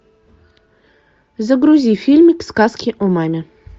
загрузи фильмик сказки о маме